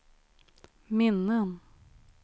minnen